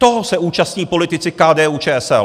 Toho se účastní politici KDU-ČSL!